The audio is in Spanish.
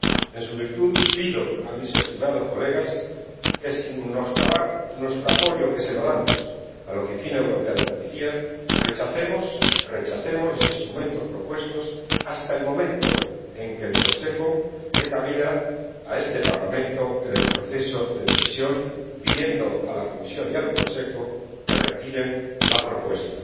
En su virtud pido a mis estimados colegas que, sin menoscabar nuestro apoyo —que se lo damos— a la Oficina Europea de Policía, rechacemos los instrumentos propuestos, hasta el momento en que el Consejo dé cabida a este Parlamento en el proceso de decisión, y que pidamos a la Comisión y al Consejo que retiren la propuesta